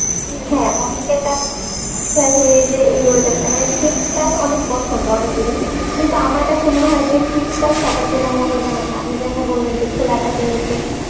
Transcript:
হ্যাঁ, অনেকের কাছে আসলে যে এই weather টা মানে শীতকাল অনেক পছন্দ অনেকেরই কিন্তু আমার কাছে মনেহয় যে শীতকাল সবার জন্যে মঙ্গলজনক নয় আপনি যেমন বললেন খোলা আকাশের নিচে